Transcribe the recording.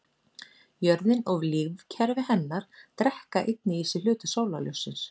Jörðin og lífkerfi hennar drekka einnig í sig hluta sólarljóssins.